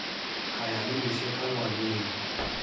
ka ya le lešeka ngwaneng